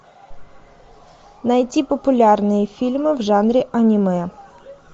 найти популярные фильмы в жанре аниме